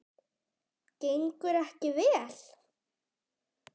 Gengur ekki vel?